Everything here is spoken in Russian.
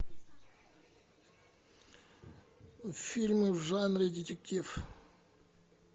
фильмы в жанре детектив